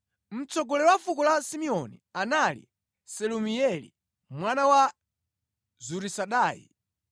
Mtsogoleri wa fuko la Simeoni anali Selumieli mwana wa Zurisadai,